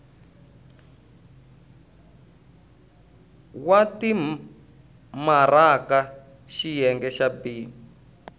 wa timaraka xiyenge xa b